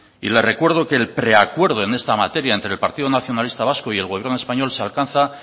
le recuerdo que el preacuerdo en esta materia entre el partido nacionalista vasco y el gobierno español se alcanza